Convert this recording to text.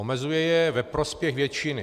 Omezuje je ve prospěch většiny.